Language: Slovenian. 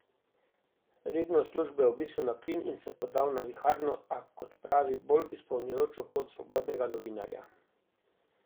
Redno službo je obesil na klin in se podal na viharno, a, kot pravi, bolj izpolnjujočo pot svobodnega novinarja.